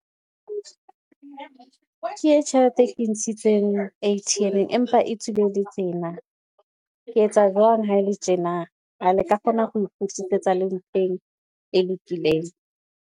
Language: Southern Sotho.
Ke e tjhelete e ntshitseng A_T_M-eng, empa e tswile le tjena. Ke etsa jwang ha ele tjena, a le ka kgona ho e kgutlisetsa le mfeng e lokileng.